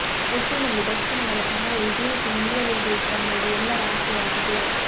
ಒಟ್ಟಿನಲ್ಲಿ ದರ್ಶನ್ ಅವರ ಸಹಾಯ ಇದೇ ರೀತಿ ಮುಂದುವರೆಯಬೇಕು ಅನ್ನೋದು ಎಲ್ಲರ ಆಸೆಯಾಗಿದೆ